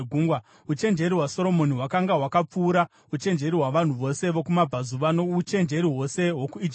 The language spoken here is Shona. Uchenjeri hwaSoromoni hwakanga hwakapfuura uchenjeri hwavanhu vose vokumabvazuva, nouchenjeri hwose hwokuIjipiti.